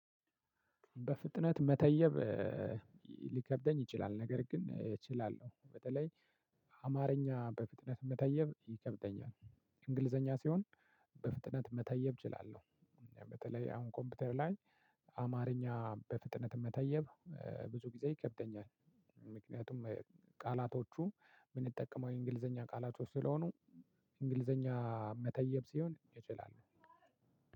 በፍጥነት መተየብ ሊከብደኝ ይችላል ነገር ግን እችላለሁ። በተለይ አማርኛ በፍጥነት መተየብ ይከብደኛል። እንግሊዘኛ ሲሆን በፍጥነት መተየብ እችላለሁ። በተለይ አሁን ኮምፒውተር ላይ አማርኛ በፍጥነት መታየብ ብዙ ጊዜ ይከብደኛል። ምክንያቱም ቃላቶቹን የምንጠቀመው የእንግሊዘኛ ቃላቶች ስለሆኑ፣ እንግሊዘኛ መተየብ ሲሆን እችላለው።